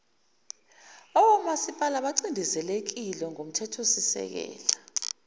awomasipala bacindezelekile ngokomthethosisekelo